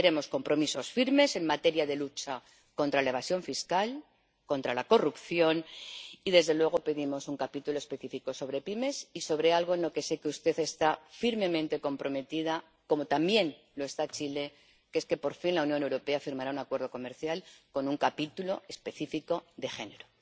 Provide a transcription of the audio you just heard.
Queremos compromisos firmes en materia de lucha contra la evasión fiscal, contra la corrupción y, desde luego, pedimos un capítulo específico sobre pymes y sobre algo con lo que sé que usted está firmemente comprometida, como también lo está Chile, que es que, por fin, la Unión Europea firmará un acuerdo comercial con un capítulo específico de género.